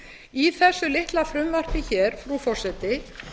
í þessu litla frumvarpi hér frú forseti